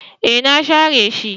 E na share shi.